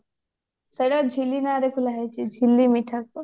ସେଟା ଝିଲି ନାଁରେ ଖୋଲା ହେଇଛି ଝିଲି ମିଠା shop